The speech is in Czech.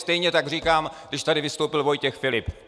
Stejně tak říkám, když tady vystoupil Vojtěch Filip.